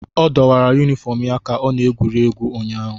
Ọ dọwara yunifọm ya ka ọ na-egwuri egwu ụnyaahụ.